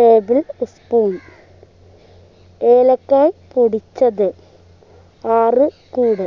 table spoon ഏലക്കായ് പൊടിച്ചത് ആറു കൂട്‌